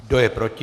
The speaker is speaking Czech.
Kdo je proti?